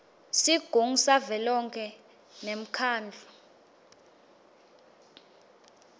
sigungu savelonkhe nemkhandlu